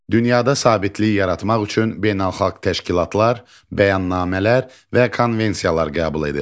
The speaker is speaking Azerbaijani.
Dünyada sabitlik yaratmaq üçün beynəlxalq təşkilatlar, bəyannamələr və konvensiyalar qəbul edir.